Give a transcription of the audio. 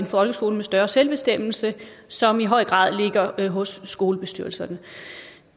folkeskole med større selvbestemmelse som i høj grad ligger hos skolebestyrelserne